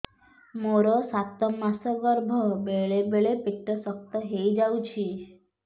ମୋର ସାତ ମାସ ଗର୍ଭ ବେଳେ ବେଳେ ପେଟ ଶକ୍ତ ହେଇଯାଉଛି